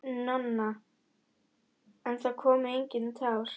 Nonna, en það komu engin tár.